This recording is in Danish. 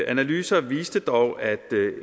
analyser viste dog at